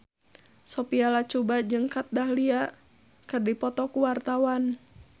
Sophia Latjuba jeung Kat Dahlia keur dipoto ku wartawan